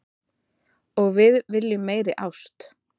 Og við viljum meiri ást